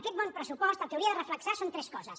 aquest bon pressupost el que hauria de reflectir són tres coses